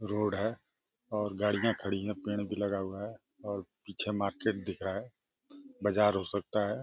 Road है और गाड़ियाँ खड़ी हैं। पैड भी लगा हुआ है और पीछे मार्केट दिख रहा है। बजार हो सकता है।